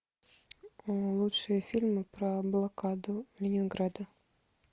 лучшие фильмы про блокаду ленинграда